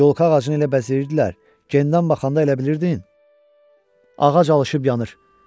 Yolka ağacını elə bəzəyirdilər, gendən baxanda elə bilirdin ağac alışıb yanır.